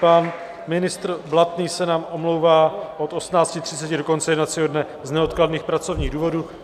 Pan ministr Blatný se nám omlouvá od 18.30 do konce jednacího dne z neodkladných pracovních důvodů.